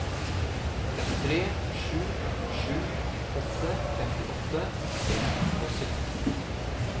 tre sju sju åtte femtiåtte seks hundre og sytten